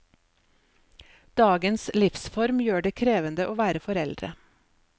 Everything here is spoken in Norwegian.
Dagens livsform gjør det krevende å være foreldre.